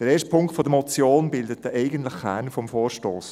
Der erste Punkt der Motion bildet den eigentlichen Kern des Vorstosses.